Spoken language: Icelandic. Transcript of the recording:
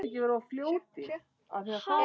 Hvernig sérðu fyrir þér átökin?